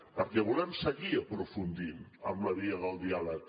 perquè volem seguir aprofundint en la via del diàleg